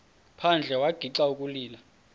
phandle wagixa ukulila